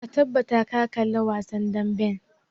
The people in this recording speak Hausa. Ka tabbata ka kalli wasan damben!